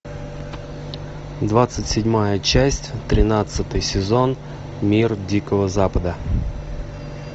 двадцать седьмая часть тринадцатый сезон мир дикого запада